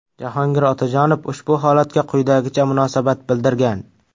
Jahongir Otajonov ushbu holatga quyidagicha munosabat bildirgan.